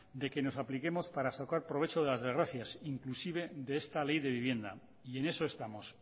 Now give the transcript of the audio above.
de que nos apliquemos para sacar provecho de las desgracias inclusive de esta ley de vivienda y en eso estamos